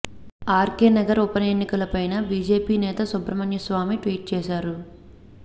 RK Nagar ఉప ఎన్నికపై BJP నేత సుబ్రహ్మణ్య స్వామి ట్వీట్ చేశారు